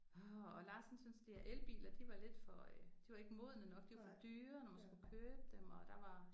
Åh og Lars han syntes de her elbiler de var lidt for øh de ikke modne nok de var for dyre når man skulle købe dem og der var